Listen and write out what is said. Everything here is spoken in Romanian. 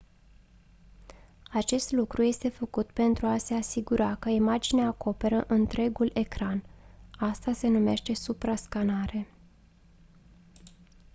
acest lucru este făcut pentru a se asigura că imaginea acoperă întregul ecran asta se numește suprascanare